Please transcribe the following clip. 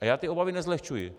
A já ty obavy nezlehčuji.